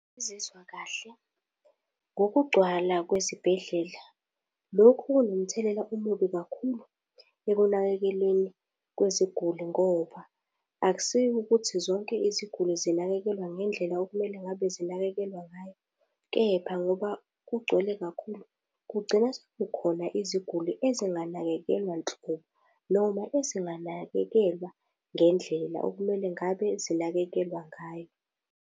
Angizizwa kahle ngokugcwala kwezibhedlela. Lokhu kunomthelela omubi kakhulu ekunakekeleni kweziguli ngoba akusiwukuthi zonke iziguli zinakekelwa ngendlela okumele ngabe zinakekelwa ngayo, kepha ngoba kugcwele kakhulu kugcina sekukhona iziguli ezinganakekelwa nhlobo, noma ezinganakekelwa ngendlela okumele ngabe zinakekelwa ngayo.